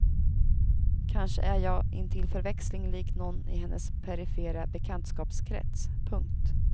Kanske är jag intill förväxling lik nån i hennes perifera bekantskapskrets. punkt